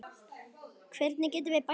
Hvernig getum við bætt okkur?